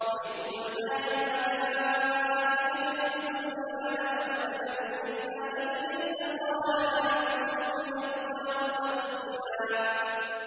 وَإِذْ قُلْنَا لِلْمَلَائِكَةِ اسْجُدُوا لِآدَمَ فَسَجَدُوا إِلَّا إِبْلِيسَ قَالَ أَأَسْجُدُ لِمَنْ خَلَقْتَ طِينًا